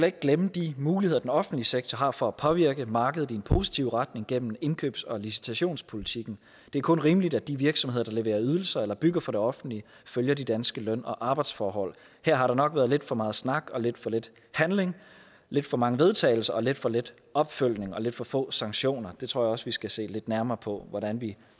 ikke glemme de muligheder den offentlige sektor har for at påvirke markedet i en positiv retning gennem indkøbs og licitationspolitikken det er kun rimeligt at de virksomheder der leverer ydelser eller bygger for det offentlige følger de danske løn og arbejdsforhold her har der nok været lidt for meget snak og lidt for lidt handling lidt for mange vedtagelser og lidt for lidt opfølgning og lidt for få sanktioner det tror jeg også vi skal se lidt nærmere på hvordan vi